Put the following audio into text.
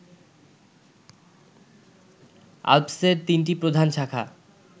আল্পসের তিনটি প্রধান শাখা